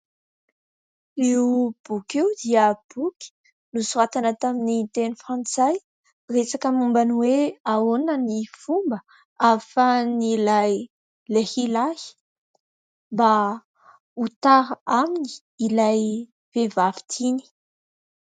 Io boky io dia boky nosoratana tamin'ny teny Frantsay, resaka momba ny hoe : ahoana ny fomba ahafahan' ilay lehilahy mba ho tara aminy ilay vehivavy tiany ?